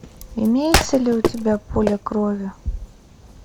имеется ли у тебя поле крови